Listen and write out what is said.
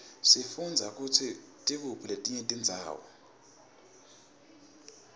sifundza kutsi tikuphi letinye tindzawo